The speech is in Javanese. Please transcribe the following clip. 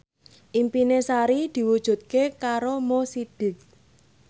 impine Sari diwujudke karo Mo Sidik